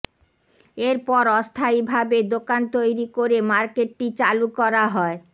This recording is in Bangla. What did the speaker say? এরপর অস্থায়ীভাবে দোকান তৈরি করে মার্কেটটি চালু করা হয়